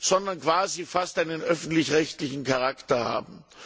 sondern quasi einen öffentlich rechtlichen Charakter haben.